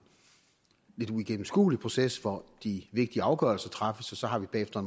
lidt uigennemskuelig proces hvor de vigtige afgørelser træffes og så har vi bagefter